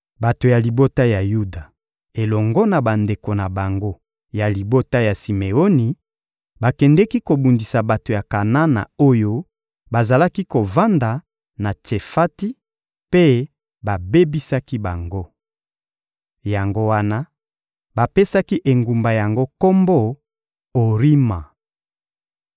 Bato ya libota ya Yuda elongo na bandeko na bango ya libota ya Simeoni bakendeki kobundisa bato ya Kanana oyo bazalaki kovanda na Tsefati, mpe babebisaki bango. Yango wana, bapesaki engumba yango kombo «Orima.»